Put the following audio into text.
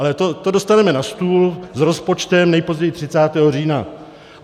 Ale to dostaneme na stůl s rozpočtem nejpozději 30. října.